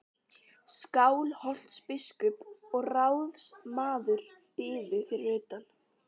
Skálholtsbiskup og ráðsmaður biðu fyrir utan.